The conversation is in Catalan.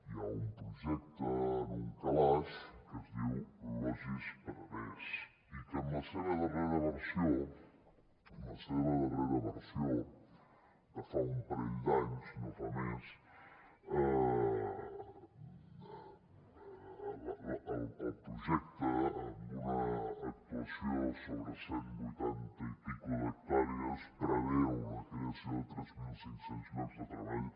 hi ha un projecte en un calaix que es diu logis penedès i que en la seva darrera versió en la seva darrera versió de fa un parell d’anys no fa més el projecte amb una actuació sobre cent vuitanta i escaig hectàrees preveu la creació de tres mil cinc cents llocs de treball